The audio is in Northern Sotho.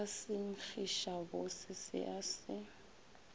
ka senkgišabose se a se